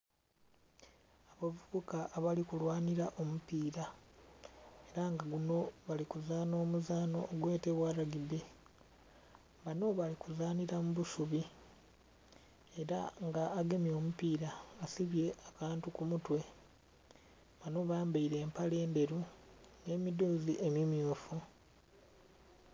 Abavubuka abali kulwanira omupiira ela nga guno bali kuzanha omuzano ogwetebwa lwagibbe. Bano bali kuzanhira mu busubi ela nga agemye omupira asibye akantu ku mutwe, bano bambaile empale endheru n'emidhoozi emimmyufu.